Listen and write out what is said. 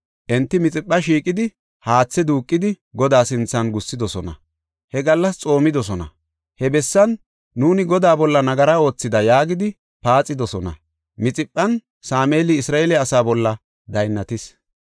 Enti Mixipha shiiqidi haathe duuqidi, Godaa sinthan gussidosona; he gallas xoomidosona; he bessan, “Nuuni Godaa bolla nagara oothida” yaagidi paaxidosona. Mixiphan Sameeli Isra7eele asaa bolla daynnatis.